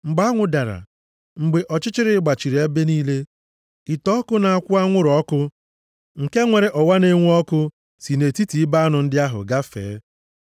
Mgbe anwụ dara, mgbe ọchịchịrị gbachiri ebe niile, ite ọkụ na-akwụ anwụrụ ọkụ nke nwere ọwa na-enwu ọkụ si nʼetiti ibe anụ ndị ahụ gafee.